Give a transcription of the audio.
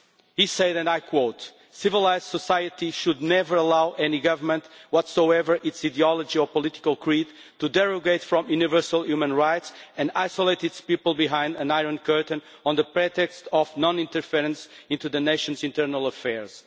He said, and I quote, civilised society should never allow any government, whatsoever its ideology or political creed, to derogate from universal human rights and isolate its people behind an iron curtain on the pretext of non interference into the nation's internal affairs'.